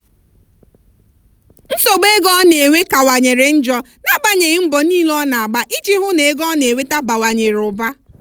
nsogbu ego ọ na-enwe kanwanyere njọ n'agbanyeghị mbọ niile ọ na-agba iji hụ na ego ọ na-enweta bawanyere ụba.